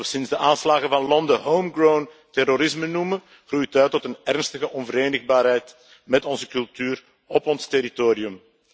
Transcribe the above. Wat we sinds de aanslagen van Londen homegrown terrorisme noemen groeit uit tot een ernstige onverenigbaarheid met onze cultuur op ons territorium.